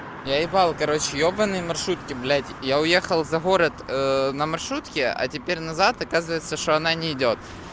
я ебал короче ёбанные маршрутки блядь я уехал за город на маршрутке а теперь назад оказывается что она не идёт